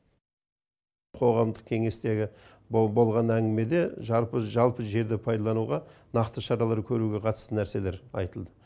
қоғамдық кеңестегі болған әңгімеде жалпы жерді пайдалануға нақты шаралар көруге қатысты нәрселерайтылды